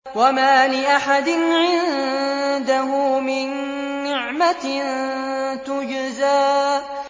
وَمَا لِأَحَدٍ عِندَهُ مِن نِّعْمَةٍ تُجْزَىٰ